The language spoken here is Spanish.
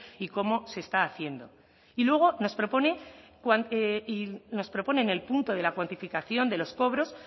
y cómo se está haciendo y luego nos propone en el punto de la cuantificación de los cobros